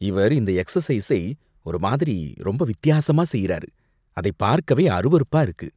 இவர் இந்த எக்சசைஸ்சை ஒரு மாதிரி ரொம்ப வித்தியாசமா செய்யறாரு, அத பார்க்கவே அருவருப்பா இருக்கு.